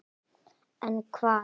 En hvað?